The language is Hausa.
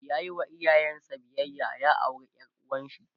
yayi wa iyayen sa biyayya ya aure ƴar uwarshi